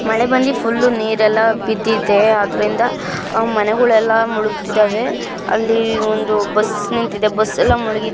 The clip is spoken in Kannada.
ಮಳೆ ಬಂದಿ ಫುಲ್ ನೀರ್ ಎಲ್ಲ ಬಿದ್ದಿದೆ ಅದರಿಂದ ಮನೆ ಗಳು ಎಲ್ಲ ಮುಳುಗ್ತಿದಾವೆ ಅಲ್ಲಿ ಒಂದು ಬಸ್ ನಿಂತಿದೆ ಬಸ್ ಎಲ್ಲ ಮುಳುಗಿ --